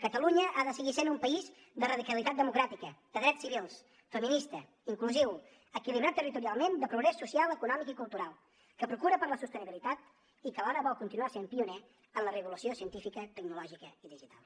catalunya ha de seguir sent un país de radicalitat democràtica de drets civils feminista inclusiu equilibrat territorialment de progrés social econòmic i cultural que procura per la sostenibilitat i que alhora vol continuar sent pioner en la revolució científica tecnològica i digital